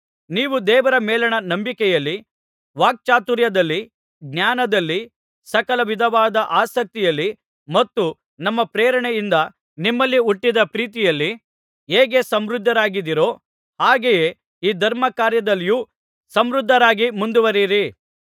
ನೀವು ದೇವರ ಮೇಲಣ ನಂಬಿಕೆಯಲ್ಲಿ ವಾಕ್ಚಾತುರ್ಯದಲ್ಲಿ ಜ್ಞಾನದಲ್ಲಿ ಸಕಲ ವಿಧವಾದ ಆಸಕ್ತಿಯಲ್ಲಿ ಮತ್ತು ನಮ್ಮ ಪ್ರೇರಣೆಯಿಂದ ನಿಮ್ಮಲ್ಲಿ ಹುಟ್ಟಿದ ಪ್ರೀತಿಯಲ್ಲಿ ಹೇಗೆ ಸಮೃದ್ಧರಾಗಿದ್ದೀರೋ ಹಾಗೆಯೇ ಈ ಧರ್ಮಕಾರ್ಯದಲ್ಲಿಯೂ ಸಮೃದ್ಧರಾಗಿ ಮುಂದುವರೆಯಿರಿ